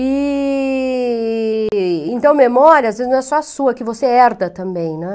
E... Então, memória, não é só a sua, que você herda também, né?